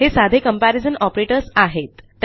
हे साधे comparison operators आहेत